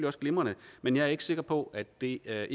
også glimrende men jeg er ikke sikker på at det er